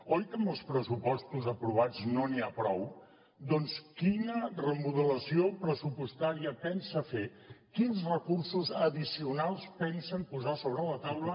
oi que amb els pressupostos aprovats no n’hi ha prou doncs quina remodelació pressupostària pensa fer quins recursos addicionals pensen posar sobre la taula